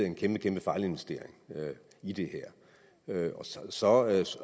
en kæmpe kæmpe fejlinvestering i det her så